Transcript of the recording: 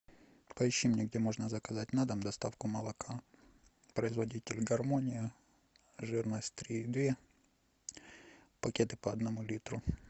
поищи мне где можно заказать на дом доставку молока производитель гармония жирность три и две пакеты по одному литру